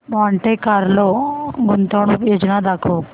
Monte Carlo गुंतवणूक योजना दाखव